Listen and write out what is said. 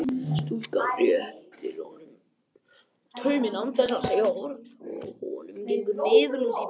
Stúlkan réttir honum tauminn án þess að segja orð og gengur niðurlút í bæinn.